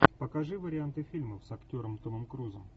покажи варианты фильмов с актером томом крузом